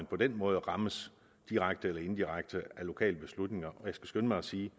på den måde rammes direkte eller indirekte af lokale beslutninger og jeg skal skynde mig at sige